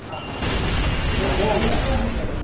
ಹಾ ಹಾ ಹೇಗೆ ನಿಲ್ಲಿಕ ಹೇಗೆ ಅದು.